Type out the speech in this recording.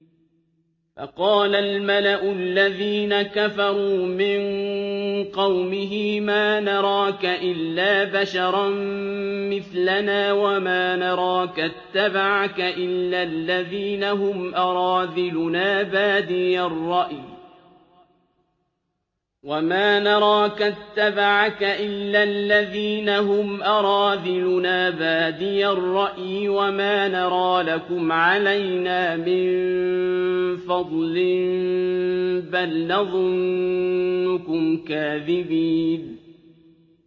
فَقَالَ الْمَلَأُ الَّذِينَ كَفَرُوا مِن قَوْمِهِ مَا نَرَاكَ إِلَّا بَشَرًا مِّثْلَنَا وَمَا نَرَاكَ اتَّبَعَكَ إِلَّا الَّذِينَ هُمْ أَرَاذِلُنَا بَادِيَ الرَّأْيِ وَمَا نَرَىٰ لَكُمْ عَلَيْنَا مِن فَضْلٍ بَلْ نَظُنُّكُمْ كَاذِبِينَ